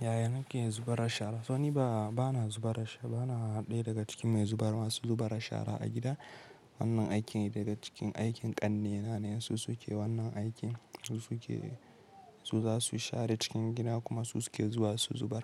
Yaya nake zubar ashara? So niba, bana zubar, bana ɗaya daga cikin mai zubar masu zubar ashara a gida. Wannan aikin daga cikin aikin ƙannena ne. Su su ke wannan aikin, su su ke, su za su share cikin gida kuma su, su ke zuwa su zubar.